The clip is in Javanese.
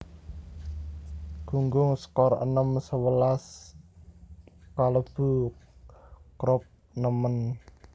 Gunggung skor enem sewelas kalebu Croup nemen